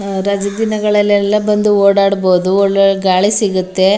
ಆಹ್ಹ್ ರಜಾ ದಿನಗಳಲ್ಲಿ ಎಲ್ಲ ಬಂದು ಓಡಾಡಬಹುದು ಒಳ್ಳೆ ಗಾಳಿ ಸಿಗುತ್ತೆ.